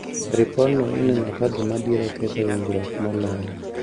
Ripodno ineno ka gima biro ketho winjruok moloyo